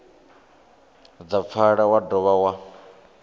dza pfala wa dovha wa